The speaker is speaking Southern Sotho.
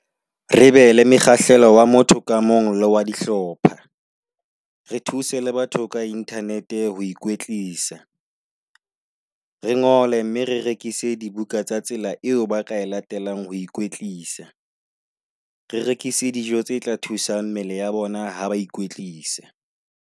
Re be le mekgahlelo wa motho ka mong le wa dihlopha, re thuse le batho ka internet ho ikwetlisa. Re ngole, mme re rekise dibuka tsa tsela eo ba ka e latelang ho ikwetlisa. Re rekise dijo tse tla thusa mmele ya bona ha ba ikwetlisa.